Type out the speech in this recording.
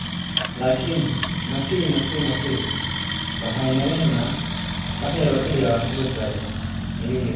"Laakiin nasi nasi nasi nasi waxay naga helnaa wax yar oo kaliya oo aan ku badbaadano," ayuu yiri.